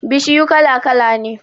Bishiyu kala-kala ne